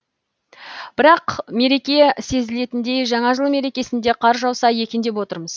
бірақ мереке сезілетіндей жаңа жыл мерекесінде қар жауса екен деп отырмыз